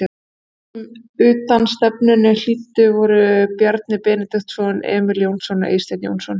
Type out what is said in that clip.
Þeir sem utanstefnunni hlíttu voru Bjarni Benediktsson, Emil Jónsson og Eysteinn Jónsson.